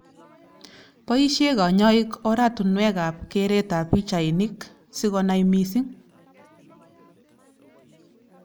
Boishe kanyoik oratunwek ab keret ak pichainik sikonai missing.